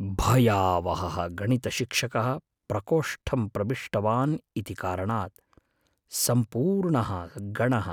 भयावहः गणितशिक्षकः प्रकोष्ठं प्रविष्टवान् इति कारणात् सम्पूर्णः गणः